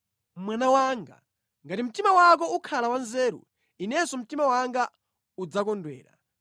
Mwana wanga, ngati mtima wako ukhala wanzeru, inenso mtima wanga udzakondwera.